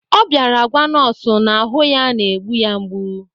Ọ bịara gwa nọọsụ na ahụ ya na-egbu ya mgbu